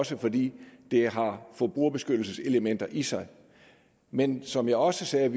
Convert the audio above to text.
især fordi det har forbrugerbeskyttelseselementer i sig men som jeg også sagde